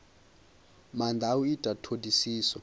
maanda a u ita thodisiso